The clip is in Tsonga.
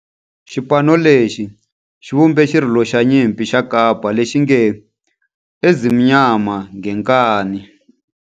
Xipano lexi xi vumbe xirilo xa nyimpi xa kampa lexi nge 'Ezimnyama Ngenkani'.